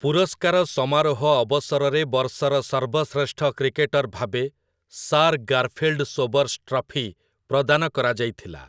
ପୁରସ୍କାର ସମାରୋହ ଅବସରରେ ବର୍ଷର ସର୍ବଶ୍ରେଷ୍ଠ କ୍ରିକେଟର୍ ଭାବେ 'ସାର୍ ଗାର୍ଫିଲ୍‌ଡ୍‌ ସୋବର୍ସ ଟ୍ରଫି' ପ୍ରଦାନ କରାଯାଇଥିଲା ।